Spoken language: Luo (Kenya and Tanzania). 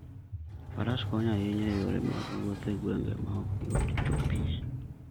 Faras konyo ahinya e yore mag wuoth e gwenge ma ok yot chopoe.